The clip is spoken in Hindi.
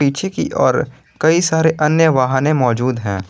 पीछे की ओर कई सारे अन्य वाहने मौजूद हैं।